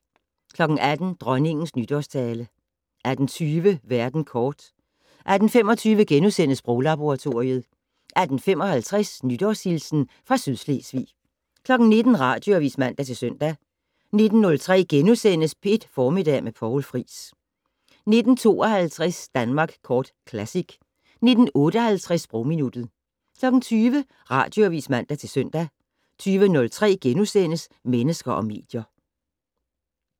18:00: Dronningens nytårstale 18:20: Verden kort 18:25: Sproglaboratoriet * 18:55: Nytårshilsen fra Sydslesvig 19:00: Radioavis (man-søn) 19:03: P1 Formiddag med Poul Friis * 19:52: Danmark Kort Classic 19:58: Sprogminuttet 20:00: Radioavis (man-søn) 20:03: Mennesker og medier *